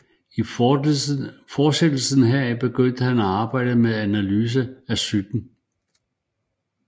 I fortsættelse heraf begyndte han at arbejde med analyse af psyken